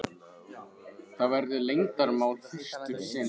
Það verður leyndarmál fyrst um sinn.